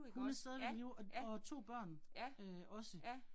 Hun er stadigvæk i live, og og 2 børn øh også